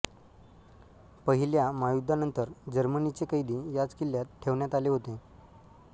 पहिल्या महायुद्धानंतर जर्मनीचे कैदी याच किल्ल्यात ठेवण्यात आले होते